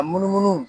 A munumunu